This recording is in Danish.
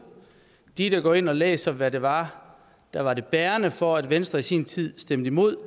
de der går ind og læser hvad det var der var det bærende for at venstre i sin tid stemte imod